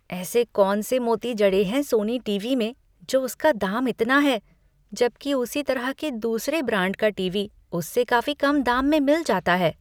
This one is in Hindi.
ऐसे कौन से मोती जड़े हैं सोनी टीवी में जो उसका दाम इतना ज्यादा है? जबकि उसी तरह के दूसरे ब्रांड का टीवी उससे काफी कम दाम में मिल जाता है।